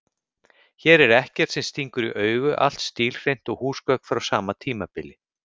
Hér er ekkert sem stingur í augu, allt stílhreint og húsgögn frá sama tímabili.